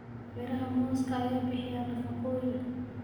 Miraha mooska ayaa bixiya nafaqooyin.